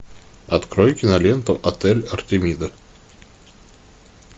открой киноленту отель артемида